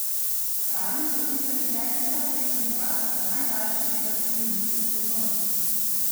Kralji so vpisali šesti zaporedni poraz za najdaljši negativni niz v sezoni.